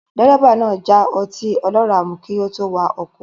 Dírẹ́bà náà já ọtí ọlọ́rà mu kí ó tó wakọ̀